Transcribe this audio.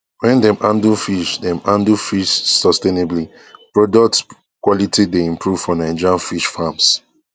wen dem handle fish dem handle fish sustainably products quality dey improve for nigerian fish farms